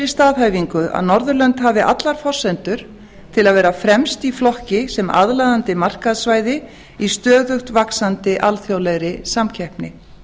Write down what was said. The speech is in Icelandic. staðhæfingu að norðurlönd hafi allar forsendur til að vera fremst í flokki sem aðlaðandi markaðssvæði í stöðugt vaxandi alþjóðlegri samkeppni